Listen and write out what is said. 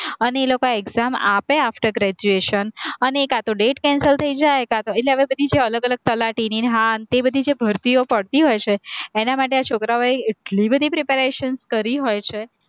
અને એ લોકો exam આપે after graduation અને કાંતો date cancel થઇ જાય કાંતો એટલે એ બધી જે અલગ-અલગ તલાટીની ને હા તે બધી જે ભરતીઓ પડતી હોય છે, એના માટે આ છોકરાઓએ એટલી બધી preparations કરી હોય છે.